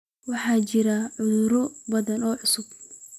Waxaa jira cudurro badan oo cusub.